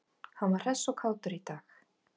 Hann var hress og kátur í dag.